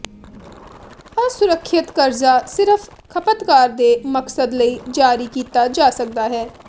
ਅਸੁਰੱਖਿਅਤ ਕਰਜ਼ਾ ਸਿਰਫ ਖਪਤਕਾਰ ਦੇ ਮਕਸਦ ਲਈ ਜਾਰੀ ਕੀਤਾ ਜਾ ਸਕਦਾ ਹੈ